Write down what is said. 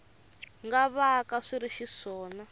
nga vaka swi ri xiswona